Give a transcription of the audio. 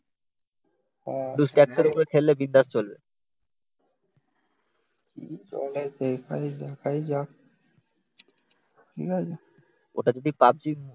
কি চলে দেখাই যাক ঠিক আছে ওটা যদি পাবজি